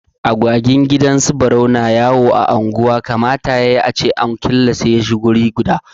Agwagin gidan su Barau na yawo a unguwa, kamata ya yi a killace su wuri guda.